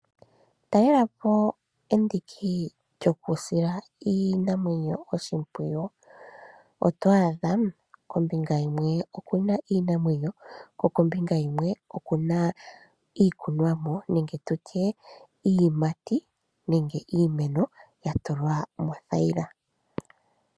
Talela po endiki lyokusila iinamwenyo oshimpwuyu. Oto adha kombinga yimwe okuna iinamwenyo, ko kombinga yimwe okuna iikunwamo nenge tutye iiyimati nenge iimeno ya tulwa moothayila.